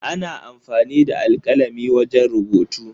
Ana amfani da alkalami wajen rubutu.